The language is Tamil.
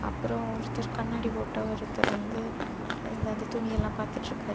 அப்புறம் ஒருத்தர் கண்ணாடி போட்ட ஒருத்தர் வந்து இந்த அந்த துணியெல்லா பாத்துட்ருக்காரு.